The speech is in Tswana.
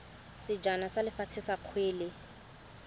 sejana sa lefatshe sa kgwele